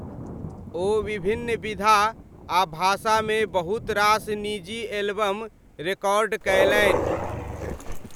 ओ विभिन्न विधा आ भाषामे बहुत रास निजी एल्बम रेकॉर्ड कयलनि।